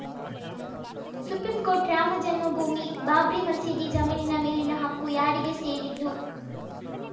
supreme court Ram Janmabhoomi Babri ಮಸೀದಿ ಜಮೀನಿನ ಮೇಲಿನ ಹಕ್ಕು ಯಾರಿಗೆ ಸೇರಿದ್ದು